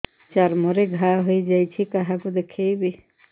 ଚର୍ମ ରେ ଘା ହୋଇଯାଇଛି କାହାକୁ ଦେଖେଇବି